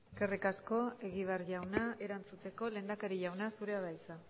eskerrik asko egibar jauna erantzuteko lehendakari jauna zurea da hitza